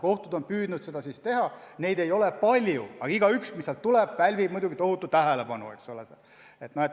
Kohtud on püüdnud seda teha, neid kaasusi ei ole palju, aga igaüks, mis on, pälvib muidugi tohutut tähelepanu.